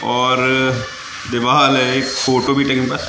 और दीवाल है एक फोटो भी टंगी बस।